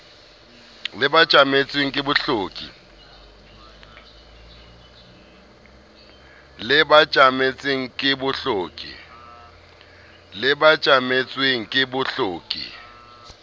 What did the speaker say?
le ba tjametsweng ke bohloki